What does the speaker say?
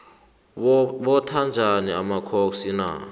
botha njani amakhoxi na